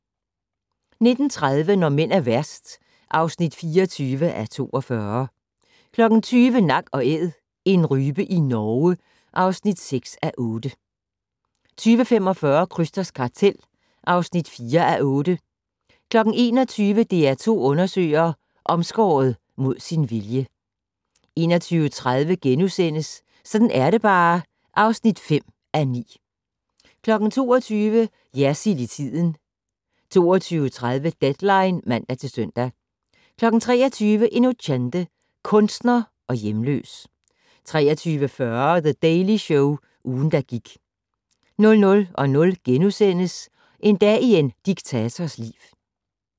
19:30: Når mænd er værst (24:42) 20:00: Nak & Æd - en rype i Norge (6:8) 20:45: Krysters kartel (4:8) 21:00: DR2 undersøger: Omskåret mod sin vilje 21:30: Sådan er det bare (5:9)* 22:00: Jersild i tiden 22:30: Deadline (man-søn) 23:00: Inocente - kunstner og hjemløs 23:40: The Daily Show - ugen, der gik 00:00: En dag i en diktators liv *